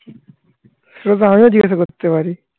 সেতো আমিও জিজ্ঞাসা করতে পারি